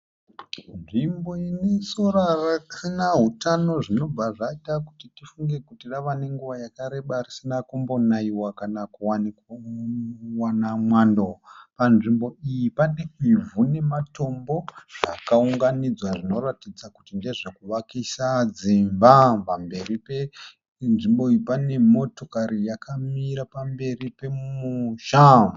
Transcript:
Nzvimbo inesora risina utano zvinobva zvaita kuti tifunge kuti rava nenguva yakareba risina kumbo naiwa kana kuwana mwando. Panzvimbo iyi pane ivhu nematombo zvakaunganidzwa zvinoratidza kuti ndezvekuvakisa dzimba. Pamberi penzvimbo iyi pane motokari yakamira pamberi pemusha.